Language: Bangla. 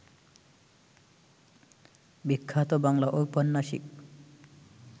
বিখ্যাত বাংলা ঔপন্যাসিক